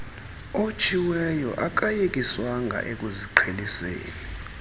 otshiweyo akayekiswanga ekuziqheliseni